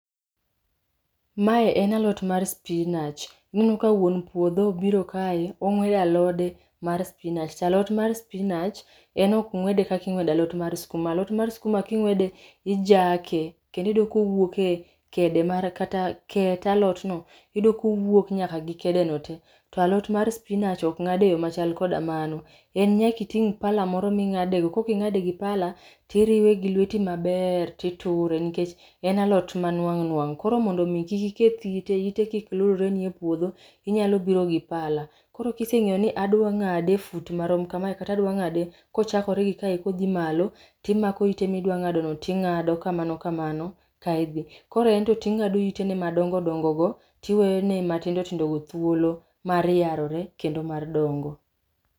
Mae en alot mar spinach. Aneno ka wuon puodho obiro kae, ong'wedo alode mar spinach. Ta alot mar spinach en okngw'ede kaka ingw'edo alot mar skuma. Alot mar skuma king'wede ijake, kendo iyudo kowuok e kede mare kata ket alot no, iyudo kowuok nyaka gi kede no te. To alot mar spinach ok ng'ad e yo machal koda mano. En nyaka iting' pala moro ming'ade go. Kok ing'ade gi pala, tiriwe gi lweti maber, titure nikech en alot ma nwang' nwang'. Koro mondo mi kik iketh ite, ite kik lurre ni e puodho, inyalo biro gi pala. Koro kiseng'eyo ni adwa ng'ade e fut marom kamae kata adwa ng'ade kochakore gi kae kodhi malo, timako ite midwa ng'ado no ting'ado kamano kamano ka idhi. Koro ento ting'ado ite ne madongo dongo go tiwene matindo tindo go thuolo mar yarore kendo mar dongo.